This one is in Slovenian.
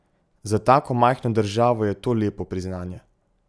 Za tako majhno državo je to lepo priznanje.